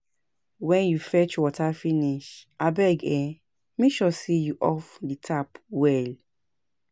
Wen you fetch water finish, abeg um make sure sey you off di tap well.